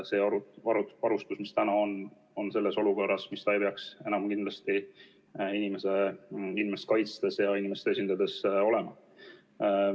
See varustus, mis täna on, on selles olukorras, milles ta ei peaks enam kindlasti inimest kaitstes ja inimest esindades olema.